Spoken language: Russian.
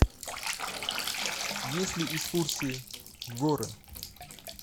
есть ли экскурсии в горы